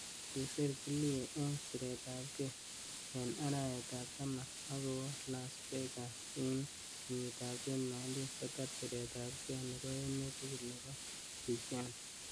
Kisir killie eng siret ap kei ing araetab taman akowa Las Vegas ing kenyit ap 2019 kotar siret ap kei nebo emet tugul nebe pageant.